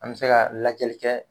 An be se ka lajɛli kɛ